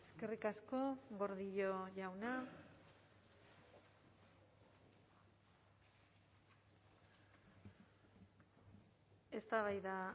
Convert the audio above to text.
eskerrik asko gordillo jauna eztabaida